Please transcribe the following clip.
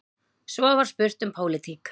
Svo var spurt um pólitík.